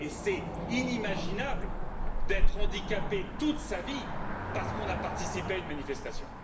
C'est inimaginable d'être handicapé toute sa vie parce qu'on a participé à une manifestation.